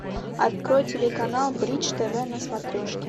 открой телеканал бридж тв на смотрешке